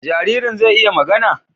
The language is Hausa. Jaririn zai iya magana?